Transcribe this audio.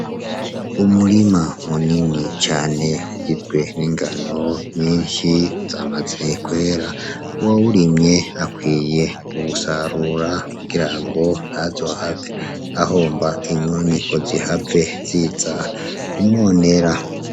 Umurima munini cane, ugizwe ningano nyinshi zamaze kwera. Uwawurimye akwiye kuwusarura kugira ngo ntazohave ahomba, inyoni ngo zihave ziza kumwononera.